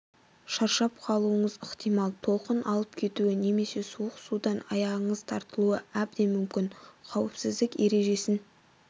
шаршап қалуыңыз ықтимал толқын алып кетуі немесе суық судан аяғыңыз тартылуы абден мүмкін қауіпсіздік ережесін